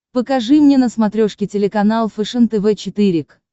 покажи мне на смотрешке телеканал фэшен тв четыре к